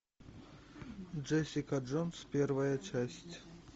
джессика джонс первая часть